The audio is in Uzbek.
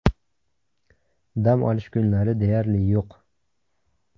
Dam olish kunlari deyarli yo‘q.